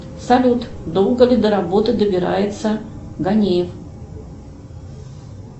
салют долго ли до работы добирается ганеев